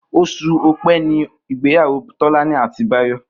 Os̩ù O̩pé̩ ni ìgbéyàwó Tó̩lání àti Báyò̩